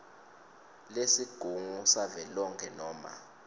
lesigungu savelonkhe noma